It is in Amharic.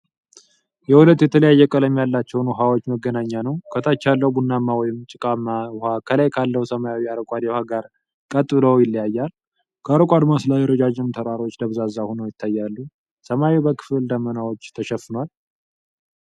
የሁለት የተለያየ ቀለም ያላቸውን ውሃዎች መገናኛ ነው። ከታች ያለው ቡናማ ወይም ጭቃማ ውሃ ከላይ ካለው ሰማያዊ አረንጓዴ ውሃ ጋር ቀጥ ብሎ ይለያያል። ከሩቅ አድማስ ላይ ረዣዥም ተራሮች ደብዛዛ ሆነው ይታያሉ። ሰማዩ በክፍል ደመናዎች ተሸፍኗል።